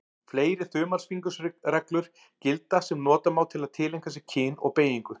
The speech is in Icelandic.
Fleiri þumalfingursreglur gilda sem nota má til að tileinka sér kyn og beygingu.